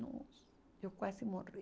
Nossa, eu quase morri.